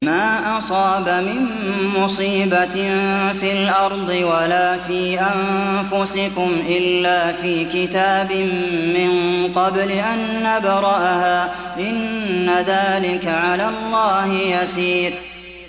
مَا أَصَابَ مِن مُّصِيبَةٍ فِي الْأَرْضِ وَلَا فِي أَنفُسِكُمْ إِلَّا فِي كِتَابٍ مِّن قَبْلِ أَن نَّبْرَأَهَا ۚ إِنَّ ذَٰلِكَ عَلَى اللَّهِ يَسِيرٌ